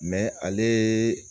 ale